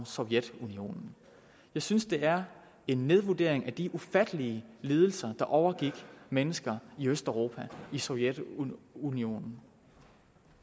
sovjetunionen jeg synes det er en nedvurdering af de ufattelige lidelser der overgik mennesker i østeuropa og i sovjetunionen